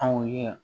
Anw ye yan